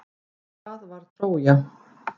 Hvað var Trója?